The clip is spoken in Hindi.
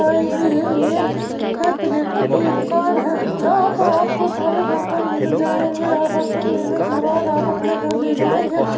गाइज ये एक ए प्लेटों की दुकान है जहां प आपको सारे बर्तन मिल जाएंगे और बर्तन लेने के बाद आप अपने घर ले जाएंगे।